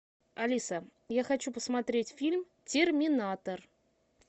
алиса я хочу посмотреть фильм терминатор